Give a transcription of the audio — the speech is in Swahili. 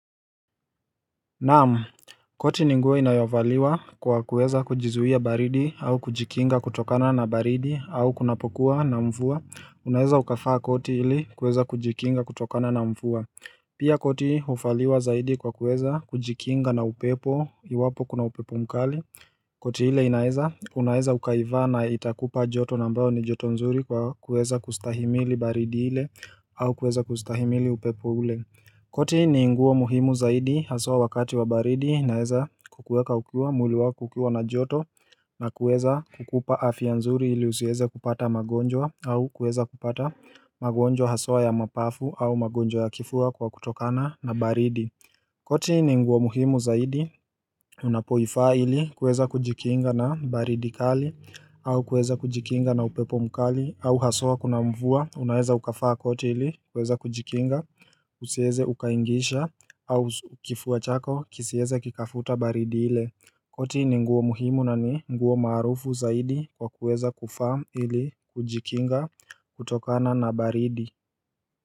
Naam, koti ninguo inayovaliwa kwa kuweza kujizuia baridi au kujikinga kutokana na baridi au kunapokuwa na mvua, unaeza ukavaa koti ili kuweza kujikinga kutokana na mvua Pia koti uvaliwa zaidi kwa kuweza kujikinga na upepo iwapo kuna upepo mkali koti ile inaeza, unaeza ukaivaa na itakupa joto na ambayo ni joto nzuri kwa kuweza kustahimili baridi ile au kuweza kustahimili upepo ule koti ni nguo muhimu zaidi haswa wakati wa baridi inaeza kukuweka ukiwa mwili wako ukiwa na joto na kueza kukupa afya nzuri ili husiweze kupata magonjwa au kuweza kupata magonjwa haswa ya mapafu au magonjwa ya kifua kwa kutokana na baridi koti ni nguo muhimu zaidi unapoivaa ili kuweza kujikinga na baridi kali au kuweza kujikinga na upepo mkali au haswa kuna mvua unaweza ukavaa koti ili kuweza kujikinga kusieze ukaingisha au kifua chako kisieze kikafuta baridi ile koti ni nguo muhimu na ni nguo maarufu zaidi kwa kuweza kuvaa ili kujikinga kutokana na baridi.